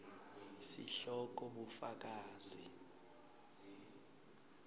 sihloko bufakazi